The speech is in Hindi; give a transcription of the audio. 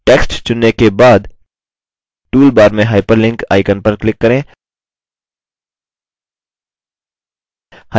text चुनने के बाद toolbar में hyperlink icon पर click करें